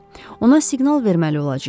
Ona siqnal verməli olacağıq.